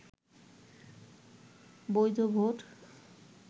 বৈধ ভোট